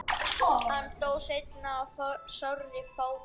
hann dó seinna í sárri fátækt